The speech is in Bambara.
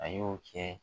A y'o kɛ